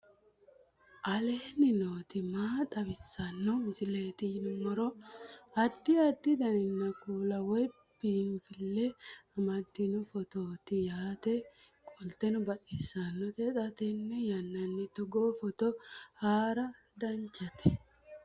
aleenni nooti maa xawisanno misileeti yinummoro addi addi dananna kuula woy biinsille amaddino footooti yaate qoltenno baxissannote xa tenne yannanni togoo footo haara danchate